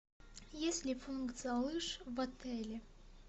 есть ли функция лыж в отеле